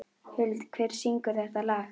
Huld, hver syngur þetta lag?